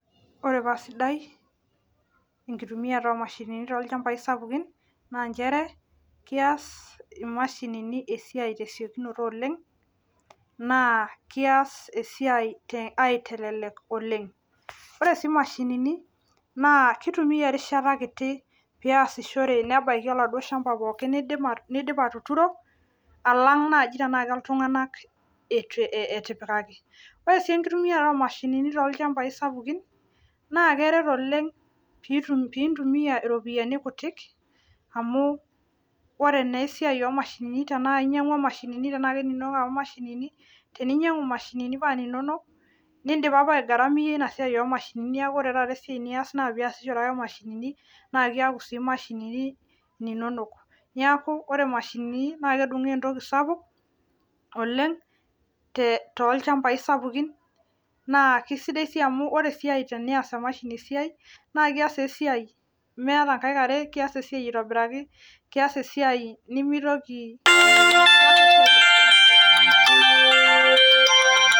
ore paa sidai enkitumiata omashinini tolchambai sapukin naa nchere kias imashinini esiai tesiokinoto oleng naa kias esiai aitelelek oleng ore sii imashinini naa kitumia erishata kiti piasishore nebaiki oladuo shamba nidip atuturo alang naaji tenaa keltung'anak eti etipikaki ore sii enkitumiata omashinini tolchambai sapukin naa keret oleng pintumia iropiyiani kutik amu ore naa esiai omashinini tenaa inyiang'ua imashinini tenaa keninonok apa imashinini teninyiang'u imashinini paa ninonok nindipa apa ae gharamia ina siai omashinini neku ore taata esiai nias naa piasishore ake imashinini naa kiaku sii imashinini ininonok niaku ore imashinini naa kedung'o entokki sapuk oleng tolchambai sapukin naa kisidai sii amu ore esiai tenias emashini esiai naa kias esiai meeta inkaik are kias esiai aitobiraki kias esiai nimitoki.